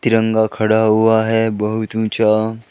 तिरंगा खड़ा हुआ है बहुत ऊंचा।